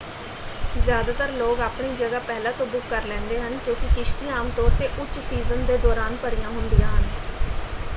ਜ਼ਿਆਦਾਤਰ ਲੋਕ ਆਪਣੀ ਜਗ੍ਹਾ ਪਹਿਲਾਂ ਤੋਂ ਬੁੱਕ ਕਰ ਲੈਂਦੇ ਹਨ ਕਿਉਂਕਿ ਕਿਸ਼ਤੀਆਂ ਆਮ ਤੌਰ 'ਤੇ ਉੱਚ ਸੀਜ਼ਨ ਦੇ ਦੌਰਾਨ ਭਰੀਆਂ ਹੁੰਦੀਆਂ ਹਨ।